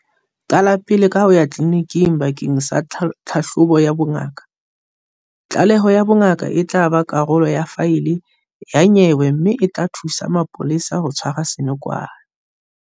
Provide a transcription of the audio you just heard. Qala pele ka ho ya tleliniking bakeng sa tlhahlobo ya bongaka. Tlaleho ya bongaka e tla ba karolo ya faele ya nyewe mme e tla thusa mapolesa ho tshwara senokwane.